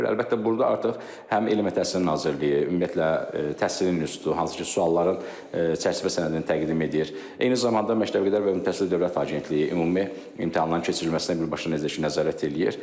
Əlbəttə burda artıq həm Elmə Təhsil Nazirliyi, ümumiyyətlə təhsil institutu, hansı ki sualların çərçivə sənədini təqdim edir, eyni zamanda Məktəbəqədər və Ümumi Təhsil Dövlət Agentliyi ümumi imtahanların keçirilməsinə birbaşa nəzarət eləyir.